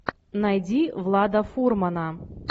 найди влада фурмана